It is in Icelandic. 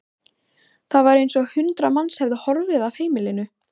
Það var eins og hundrað manns hefðu horfið af heimilinu.